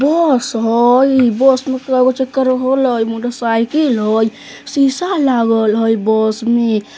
बस हई बस में केगो चक्का र हो लय मोटर साइकिल हई शीशा लागल हई बस में।